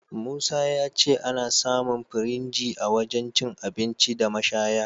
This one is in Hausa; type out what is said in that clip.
Musa ya ce ana samun firinji a wajen cin abinci da mashaya..